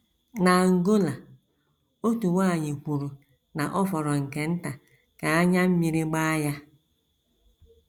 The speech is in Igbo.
N’Angola, otu nwanyị kwuru na ọ fọrọ nke nta ka anya mmiri gbaa ya.